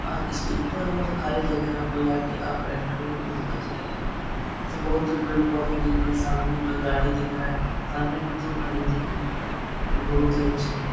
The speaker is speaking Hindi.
और इसके ऊपर में तो खाली जगह है। यहाँ पे जाके आप बैठोगे तो बहुत अच्छा लगेगा। यहाँ से बहुत दूर पेड़-पौधे दिख रहे हैं। सामने में एक गाड़ी दिख रहा है। सामने में दो गाड़ी दिख रहा है जो बहुत ही अच्छे है।